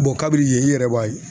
kabini yen i yɛrɛ b'a ye